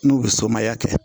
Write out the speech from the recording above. N'u bɛ somaya kɛ